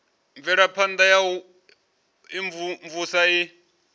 mvelaphana ya u imvumvusa i